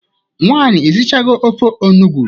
Nwaanyị, ishichago ofe onugbo?